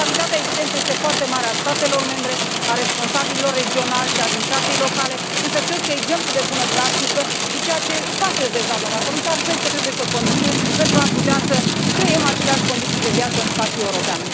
Responsabilitatea, evident, este foarte mare a statelor membre, a responsabililor regionali și a administrației locale însă, cred că, exemplu de bună practică, ceea ce faceți deja doamnă comisar trebuie să continue, pentru a putea să creăm aceleași condiții de viață în spațiul european.